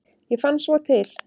Ég fann svo til.